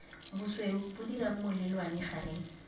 bosweu bo dirang molelwane gareng